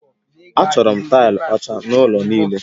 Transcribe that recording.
Achọrọ m taịlị ọcha n'ụlọ niile